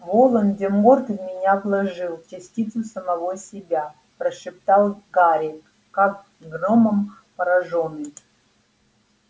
волан-де-морт в меня вложил частицу самого себя прошептал гарри как громом поражённый